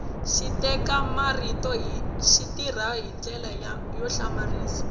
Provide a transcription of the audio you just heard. xiteka marito xi tirha hi ndlela yo hlamarisa